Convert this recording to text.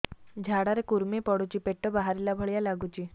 ଝାଡା ରେ କୁର୍ମି ପଡୁଛି ପେଟ ବାହାରିଲା ଭଳିଆ ଲାଗୁଚି